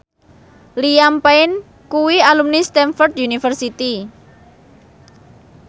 Liam Payne kuwi alumni Stamford University